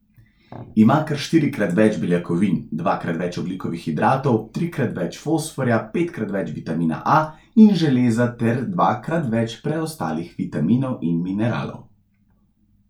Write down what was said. Ima kar štirikrat več beljakovin, dvakrat več ogljikovih hidratov, trikrat več fosforja, petkrat več vitamina A in železa ter dvakrat več preostalih vitaminov in mineralov.